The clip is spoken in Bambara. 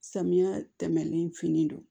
Samiya tɛmɛnen fin don